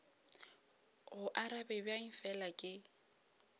go arabe bjang fela ke